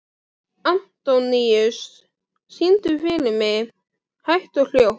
Antóníus, syngdu fyrir mig „Hægt og hljótt“.